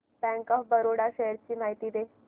bank of Baroda shares ची माहिती दे